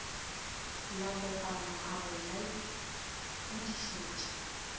la kopana a go laodišetša